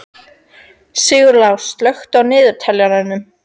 Sigurlás, slökktu á niðurteljaranum.